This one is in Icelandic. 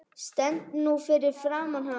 Stend nú fyrir framan hana.